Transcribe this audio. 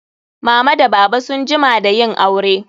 Mama da baba sun jima da yin aure.